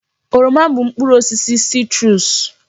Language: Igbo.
Oroma bụ mkpụrụ osisi sitruusu.